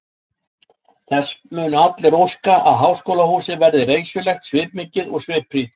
Þess munu allir óska, að háskólahúsið verði reisulegt, svipmikið og svipfrítt.